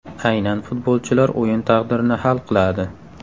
Aynan futbolchilar o‘yin taqdirini hal qiladi.